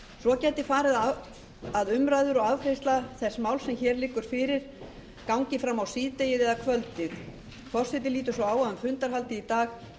svo gæti farið að umræður og afgreiðsla þess máls sem hér liggur fyrir gangi fram á síðdegið eða kvöldið forseti lítur svo á að um fundarhaldið í dag sé samkomulag